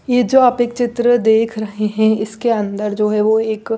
ये जो आप एक चित्र देख रहे है इसके अंदर जो है वो एक--